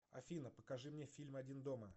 афина покажи мне фильм один дома